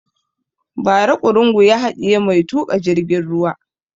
Ba ra ƙurungu ya haɗiye mai tuƙa jirgin ruwa